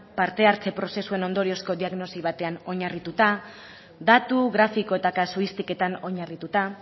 parte hartze prozesuen ondorioz diagnosi batean oinarrituta datu grafiko eta kasuistikoetan oinarrituta